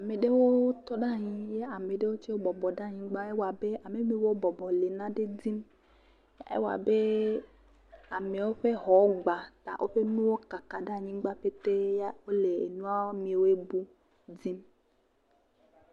Ame aɖewo tɔ ɖe anyi ame aɖewo bɔbɔ ɖe anyi ewɔ abe yiwo bɔbɔ le naɖe dim ewɔ abe amewo ƒe xɔ gbã woƒe nuwo kaka ɖe anyigbã pete wole nua yiwo bu dim